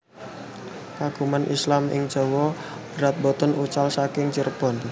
Keagungan Islam ing Jawa Barat boten wucal saking Cirebon